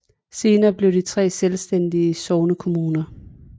Senere blev de tre selvstændige sognekommuner